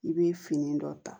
I bɛ fini dɔ ta